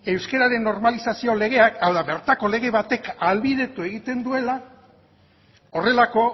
euskararen normalizazio legeak hau da bertako lege batek ahalbidetu egiten duela horrelako